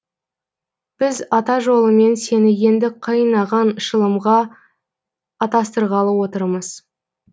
біз ата жолымен сені енді қайын ағаң шылымға атастырғалы отырмыз